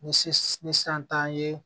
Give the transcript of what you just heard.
Ni se ni san t'an ye